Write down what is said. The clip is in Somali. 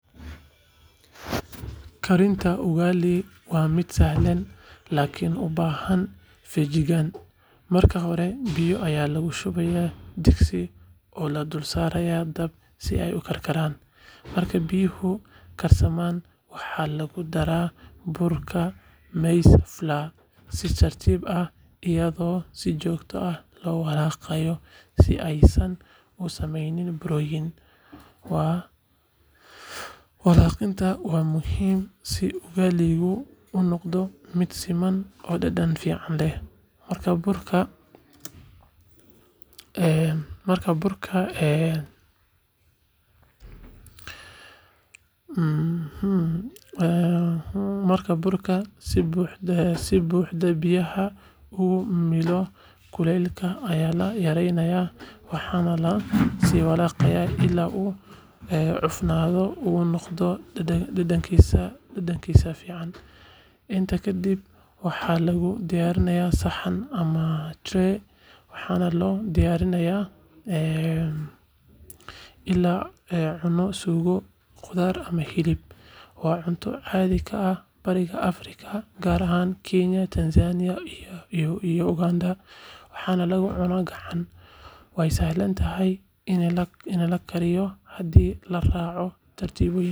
Karinta ugali waa mid sahlan laakiin u baahan feejignaan. Marka hore, biyo ayaa lagu shubaa digsi oo la dul saaraa dab si ay u karkaraan. Marka biyuhu karsamaan, waxaa lagu daraa burka maize flour si tartiib ah iyadoo si joogto ah loo walaaqayo si aysan u samayn burooyin. Walaaqidda waa muhiim si ugali-gu u noqdo mid siman oo dhadhan fiican leh. Marka burka si buuxda biyaha ugu milmo, kulaylka ayaa la yareeyaa waxaana la sii walaaqayaa ilaa uu cufnaado oo uu noqdo dhagax laastik ah. Intaa kadib, waxaa lagu daadiyaa saxan ama tray, waxaana loo diyaariyaa in lala cuno suugo, khudaar ama hilib. Ugali waa cunto caadi ka ah Bariga Afrika, gaar ahaan Kenya, Tanzania iyo Uganda, waxaana lagu cuno gacan. Waa sahlan tahay in la barto karinteeda haddii la raaco tallaabooyinka saxda ah.